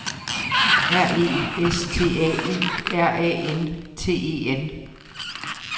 R E S T A U R A N T E N